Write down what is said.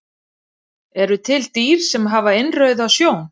Eru til dýr sem hafa innrauða sjón?